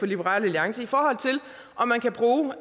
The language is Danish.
liberal alliance i forhold til om man kan bruge